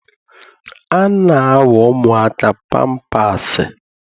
A na-awa ụmụaka pampaasị.